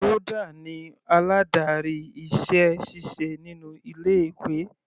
Rhoda ni aládarí iṣẹ́ ṣíṣe inú ilé ìwé.